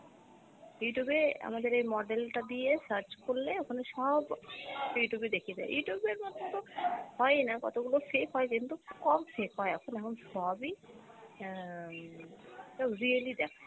Youtube এ আমাদের এই model টা দিয়ে search করলে ওখানে সব, Youtube এ দেখিয়ে দেয়, Youtube এর মধ্যে তো হয়ই না, কতগুলো fake হয় কিন্তু কম fake হয়, এখন এখন সবই অ্যাঁ real ই দেখাই।